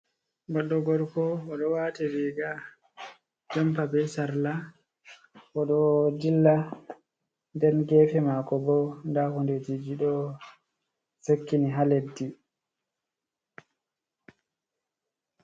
Goɗɗo gorko o ɗo waati riiga jampa be sarla, o ɗo dilla nden geefe maako bo, ndaa hundejiji ɗo sakkini haa leddi.